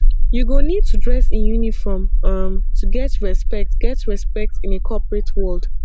you go need to dress in uniform um to get respect get respect in a corporate world